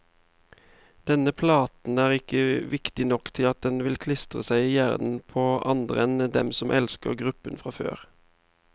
Denne platen er ikke viktig nok til at den vil klistre seg i hjernen på andre enn dem som elsker gruppen fra før.